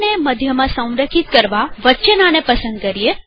મધ્યમાં સંરેખિત કરવા વચ્ચેવાળાને પસંદ કરીએ